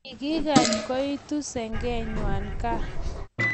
Kikakany koitu sengeng'wany gaa